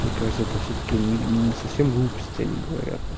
мне кажется тут всё-таки не не совсем глупости они говорят